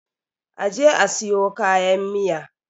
a je a siyo kayan Miya!